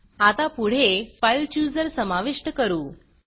आता पुढे file chooser file chooser समाविष्ट करू